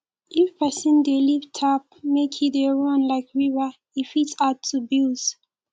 if person dey leave tap make e dey run like river e fit add to bills